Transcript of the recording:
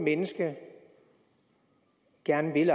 menneske gerne vil